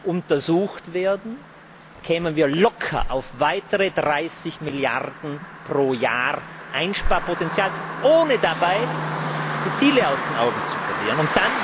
untersucht würden, kämen wir locker auf weitere 30 Milliarden Einsparpotential pro Jahr, ohne dabei die Ziele aus den Augen zu verlieren.